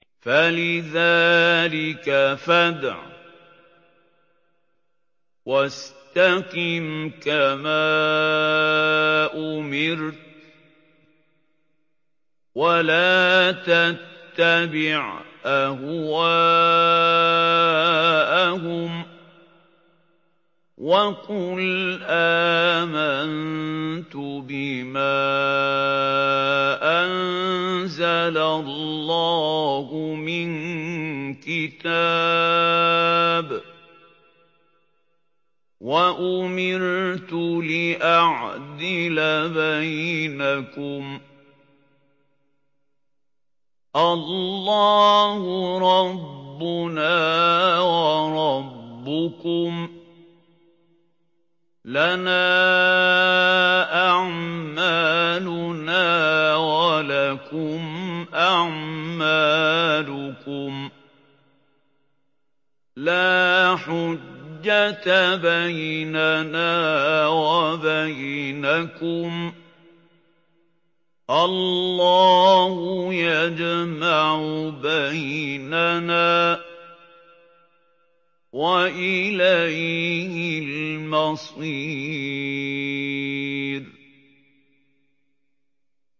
فَلِذَٰلِكَ فَادْعُ ۖ وَاسْتَقِمْ كَمَا أُمِرْتَ ۖ وَلَا تَتَّبِعْ أَهْوَاءَهُمْ ۖ وَقُلْ آمَنتُ بِمَا أَنزَلَ اللَّهُ مِن كِتَابٍ ۖ وَأُمِرْتُ لِأَعْدِلَ بَيْنَكُمُ ۖ اللَّهُ رَبُّنَا وَرَبُّكُمْ ۖ لَنَا أَعْمَالُنَا وَلَكُمْ أَعْمَالُكُمْ ۖ لَا حُجَّةَ بَيْنَنَا وَبَيْنَكُمُ ۖ اللَّهُ يَجْمَعُ بَيْنَنَا ۖ وَإِلَيْهِ الْمَصِيرُ